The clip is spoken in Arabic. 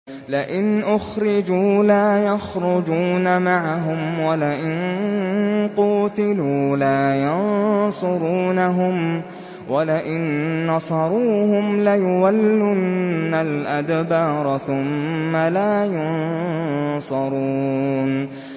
لَئِنْ أُخْرِجُوا لَا يَخْرُجُونَ مَعَهُمْ وَلَئِن قُوتِلُوا لَا يَنصُرُونَهُمْ وَلَئِن نَّصَرُوهُمْ لَيُوَلُّنَّ الْأَدْبَارَ ثُمَّ لَا يُنصَرُونَ